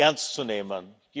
ernst zu nehmen.